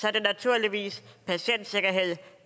er det naturligvis patientsikkerhed